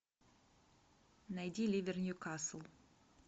найди ливер ньюкасл